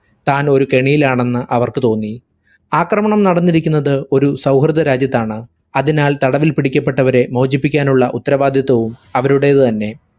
താനൊരു കെണിയിൽ ആണെന്ന് അവർക്കു തോന്നി. ആക്രമണം നടന്നിരിക്കുന്നത് ഒരു സൗഹൃദ രാജ്യത്താണ്. അതിനാൽ തടവിൽ പിടിക്കപ്പെട്ടവരെ മോചിപ്പിക്കാനുള്ള ഉത്തരവാദിത്വവും അവരുടേത് തന്നെ.